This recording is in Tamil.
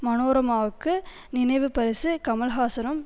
மனோரமாவுக்கு நினைவு பரிசை கமல்ஹாசனும்